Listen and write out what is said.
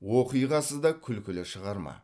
оқиғасы да күлкілі шығарма